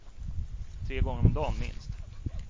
Tre gånger om dan, minst.